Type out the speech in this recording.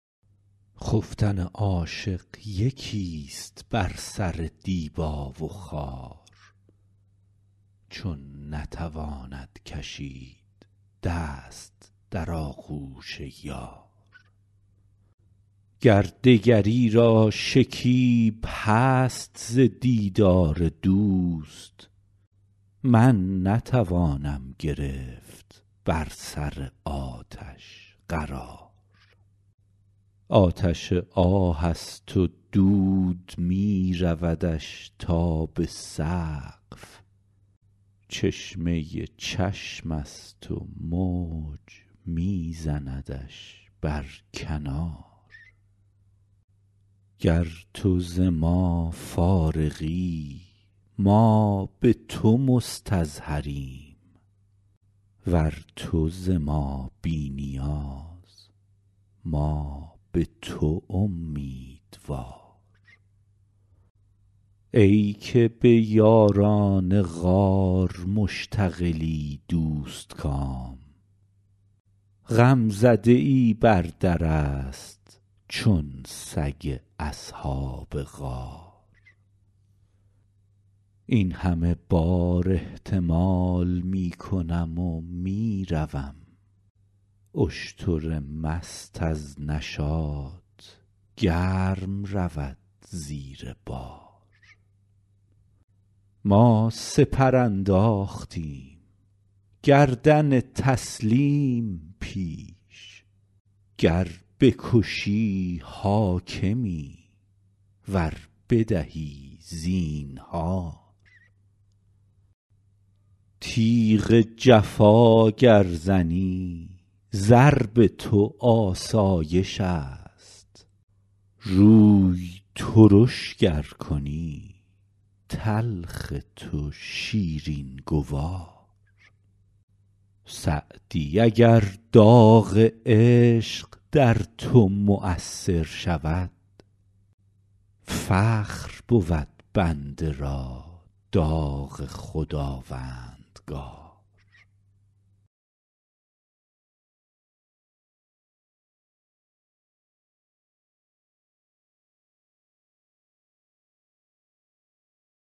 خفتن عاشق یکیست بر سر دیبا و خار چون نتواند کشید دست در آغوش یار گر دگری را شکیب هست ز دیدار دوست من نتوانم گرفت بر سر آتش قرار آتش آه است و دود می رودش تا به سقف چشمه چشمست و موج می زندش بر کنار گر تو ز ما فارغی ما به تو مستظهریم ور تو ز ما بی نیاز ما به تو امیدوار ای که به یاران غار مشتغلی دوستکام غمزده ای بر درست چون سگ اصحاب غار این همه بار احتمال می کنم و می روم اشتر مست از نشاط گرم رود زیر بار ما سپر انداختیم گردن تسلیم پیش گر بکشی حاکمی ور بدهی زینهار تیغ جفا گر زنی ضرب تو آسایشست روی ترش گر کنی تلخ تو شیرین گوار سعدی اگر داغ عشق در تو مؤثر شود فخر بود بنده را داغ خداوندگار